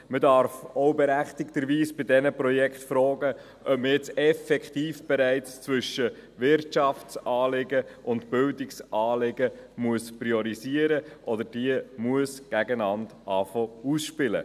Man darf bei diesen Projekten berechtigterweise auch fragen, ob man jetzt effektiv bereits zwischen Wirtschaftsanliegen und Bildungsanliegen priorisieren muss oder beginnen muss, diese gegeneinander auszuspielen.